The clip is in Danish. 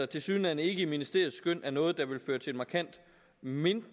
tilsyneladende ikke i ministeriets skøn er noget der vil føre til markant mindre